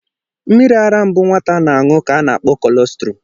Mmiri ara mbụ nwata na-aṅụ ka ana akpọ kolostrum.